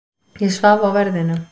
Ég svaf á verðinum.